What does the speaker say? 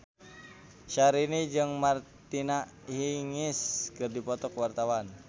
Syahrini jeung Martina Hingis keur dipoto ku wartawan